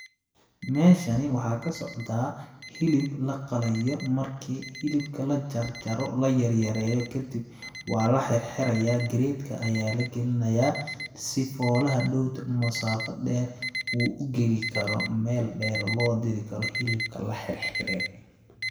Meeshani waxaa ka socdaa hilib la qalayo markii hilibka la jarjaro la yaryareeyo kadib waa la xirxirayaa crate ka ayaa la galinayaa ,si foola hadhoow dambe musaafa dheer uu u gali karo, meel dheer loo diri karo hilibka la xirxire.